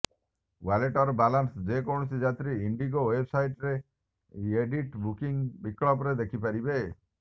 ୱାଲେଟର balance ଯେକୌଣସି ଯାତ୍ରୀ ଇଣ୍ଡିଗୋ ୱେବସାଇଟରେ ଏଡିଟ୍ ବୁକିଂ ବିକଳ୍ପରେ ଦେଖିପାରିବେ